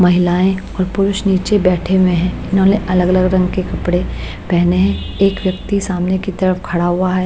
महिलाएं और पुरुष नीचे बैठे हुए हैं इन्होंने अलग-अलग रंग के कपड़े पहने हैं एक व्यक्ति सामने की तरफ खड़ा हुआ है।